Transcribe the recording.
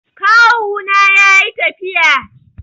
Kawuna ya yi tafiya.